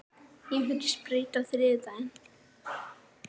Ég fer í sprautu á þriðjudag.